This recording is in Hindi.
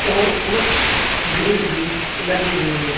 और कुछ ग्रिल भी लगे हुए हैं।